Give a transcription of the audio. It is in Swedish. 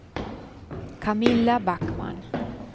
Camilla Backman